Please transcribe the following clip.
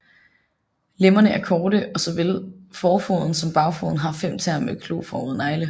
Lemmerne er korte og såvel forfoden som bagfoden har fem tæer med kloformede negle